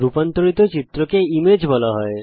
রুপান্তরিত চিত্রকে ইমেজ বলা হয়